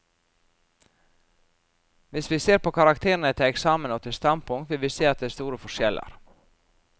Hvis vi ser på karakterene til eksamen og til standpunkt, vil vi se at det er store forskjeller.